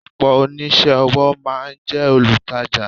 Ọ̀pọ̀ oníṣẹ́-ọwọ́ máa ń jẹ́ olutaja.